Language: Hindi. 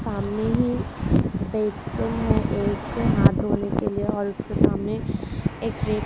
सामने ही बेसिन है एक हाथ धोने के लिए और उसके सामने एक रैक --